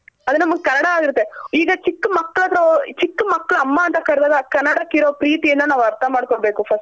ಅದು ನಮ್ಗ್ ಕನ್ನಡ ಆಗಿರುತ್ತೆ ಈಗ ಚಿಕ್ ಮಕ್ಳು ಹತ್ರ ಹೊ ಚಿಕ್ ಮಕ್ಳ್ ಅಮ್ಮ ಅಂತ ಕರ್ದಾಗ ಕನ್ನಡ ಕಿರೋ ಪ್ರೀತಿನ ನಾವ್ ಅರ್ಥ ಮಾಡ್ಕೊನ್ಬೇಕು first.